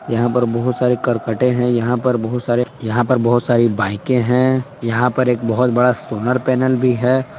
यहां पर बहुत सारे करकटे हैं। यहां पर बहुत सारे यहां पर बहुत सारी बाइके हैं। यहां पर एक बहुत बड़ा सोलर पैनल भी है।